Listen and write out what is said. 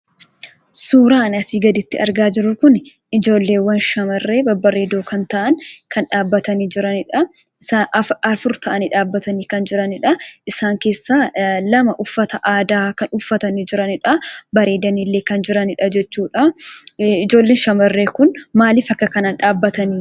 Suuraan asi gaditti arga jirru kuni ijoollewwaan shamarree babbareedoo kan ta'an, kan dhaabbataa jiranidha. Afur ta'anii dhaabbatanii kan jiranidha. Isaan keessaa lama uffata aadaa kan uffatanii jiranidha. Bareedaniillee kan jiranidha jechudha. Ijoollee shamarree kuni maaliif akka kanaan dhabbatani?